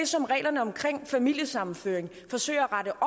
som reglerne omkring familiesammenføring forsøger at rette